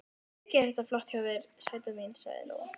Mikið er þetta flott hjá þér, sæta mín, sagði Lóa.